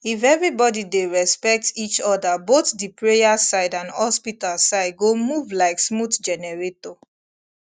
if everybody dey respect each other both the prayer side and hospital side go move like smooth generator